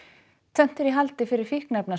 tvennt er í haldi fyrir